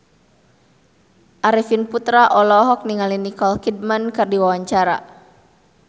Arifin Putra olohok ningali Nicole Kidman keur diwawancara